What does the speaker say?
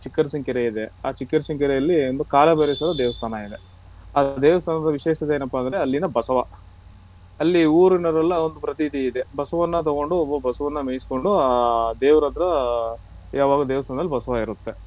ಚಿಕ್ಕರಸಿನ್ ಕೆರೆ ಇದೆ ಆ ಚಿಕ್ಕರಸಿನ್ ಕೆರೆ ಅಲ್ಲಿ ಒಂದು ಕಾಲಭೈರೇಶ್ವರ ದೇವಸ್ತಾನ ಇದೆ ಆ ದೇವಸ್ತಾನದ ವಿಶೇಷತೆ ಏನಪ್ಪಾ ಅಂದ್ರೆ ಅಲ್ಲಿನ ಬಸವ ಅಲ್ಲಿ ಊರಿಂದ ಎಲ್ಲ ಪ್ರತೀತಿ ಇದೆ ಬಸವನ್ನ ತಗೊಂಡು ಒಬ್ಬ ಬಸವನ್ನ ಮೆಯಿಸ್ಕೊಂಡು ಆ ದೇವರತ್ರ ಯಾವಗ್ಲೂ ದೇವಸ್ತಾನದಲ್ಲಿ ಬಸವ ಇರುತ್ತೆ.